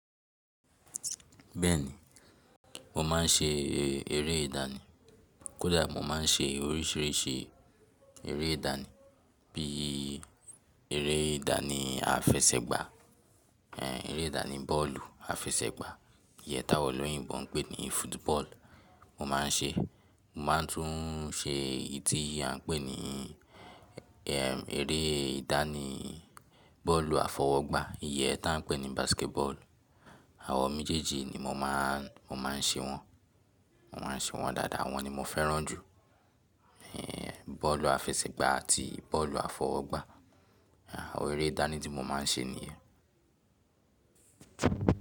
Bẹ́ẹ̀ni, mo máa ń ṣe eré ìdánì. Kódà mo máa ń ṣe oríṣìíríṣìí eré ìdánì bí eré ìdánì àfẹsẹ̀gbá, ẹ́ eré ìdánì bọ́ọ̀lù àfẹsẹ̀gbá, iyẹ táwọn olóyìnbo ń pè ní football mo máa ń ṣe. Mo máa tún ún ṣe èyí tí à ń pè ní eré ìdánì bọ́ọ̀lù àfọwọ́gbá iyẹ tá ń pè ní basketball. Àwọ mi jẹ́jẹ́ nimo máa ń ṣe wọ́n, mo máa ń ṣe wọ́n dáadáa, awọ́n ni mo fẹ́ràn jù. Ẹ̀ bọ́ọ̀lù àfẹsẹ̀gbá àti bọ́ọ̀lù àfọwọ́gbá, àwọn eré ìdánì tí mo máa ń ṣe nìyẹn.